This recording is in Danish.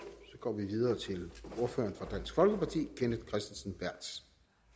så går vi videre til ordføreren for dansk folkeparti kenneth kristensen berth